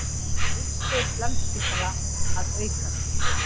Umsvif Landspítala að aukast